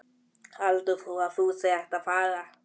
Hvert heldur þú að þú sért að fara?